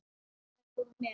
Þær voru með